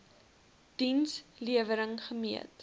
diens lewering gemeet